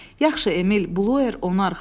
Yaxşı, Emil, Bluer onu arxayın etdi.